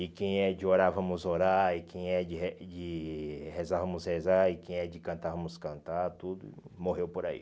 E quem é de orar, vamos orar, e quem é de re de rezar, vamos rezar, e quem é de cantar, vamos cantar, tudo morreu por aí.